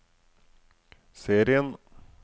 serien